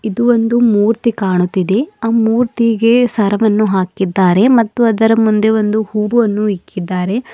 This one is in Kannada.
ಇದು ಒಂದು ಮೂರ್ತಿ ಕಾಣುತ್ತಿದೆ ಆ ಮೂರ್ತಿಗೆ ಸರವನ್ನು ಹಾಕಿದ್ದಾರೆ ಮತ್ತು ಅದರ ಮುಂದೆ ಒಂದು ಹೂವನ್ನು ಇಕ್ಕಿದ್ದಾರೆ.